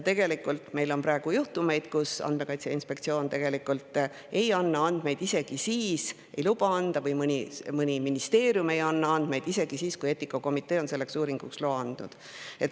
Tegelikult on meil praegu juhtumeid, kus Andmekaitse Inspektsioon või mõni ministeerium ei anna luba või andmeid isegi siis, kui eetikakomitee on uuringuks loa andnud.